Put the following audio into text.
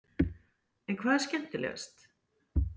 En hvað er skemmtilegast?